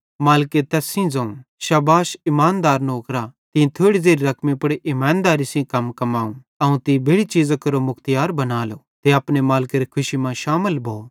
मालिके तैस सेइं ज़ोवं शाबाश इमानदार नौकरा तीं थोड़ी ज़ेरि रकमी पुड़ इमानदेरी सेइं कम कमाव अवं तीं बेड़ि चीज़ां केरो मुख्तियार बनालो ते अपने मालिकेरी खुशी मां शामिल भो